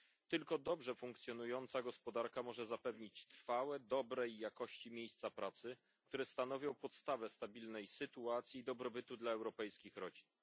Tylko dobrze funkcjonująca gospodarka może zapewnić trwałe, dobrej jakości miejsca pracy, które stanowią podstawę stabilnej sytuacji i dobrobytu dla europejskich rodzin.